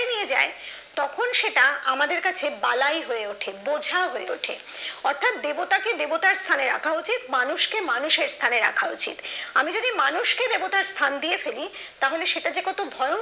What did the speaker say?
নিয়ে যায় তখন সেটা আমাদের কাছে বালাই হয়ে ওঠে বোঝা হয়ে ওঠে অর্থাৎ দেবতাকে দেবতারস্থানে রাখা উচিত মানুষকে মানুষের স্থানে রাখা উচিত আমি যদি মানুষকে দেবতার স্থান দিয়ে ফেলে তাহলে সেটা যে কত ভয়ংকর